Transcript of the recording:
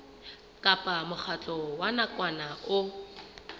kapa mokgatlo wa nakwana o